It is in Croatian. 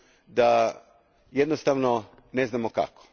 da jednostavno ne znamo kako.